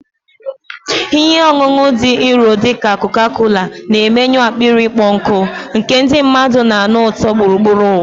Ihe ọṅụṅụ dị nro dị ka Coca-Cola na-emenyụ akpịrị ịkpọ nkụ, nke ndị mmadụ na-anụ ụtọ gburugburu ụwa.